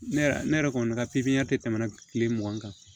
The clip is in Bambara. Ne yɛrɛ ne yɛrɛ kɔni ka tɛ tɛmɛna kile mugan kan